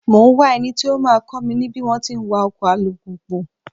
Mò ń wá eni tó máa kọ́ mi ní bí wón ti ń wa ọkọ̀ alùpùpù.